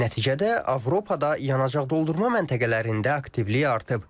Nəticədə Avropada yanacaq doldurma məntəqələrində aktivlik artıb.